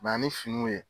Ba ni finiw ye